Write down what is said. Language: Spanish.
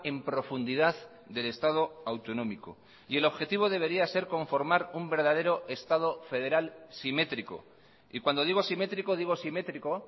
en profundidad del estado autonómico y el objetivo debería ser conformar un verdadero estado federal simétrico y cuando digo simétrico digo simétrico